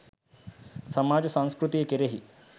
සමාජ සංස්කෘතිය කෙරෙහි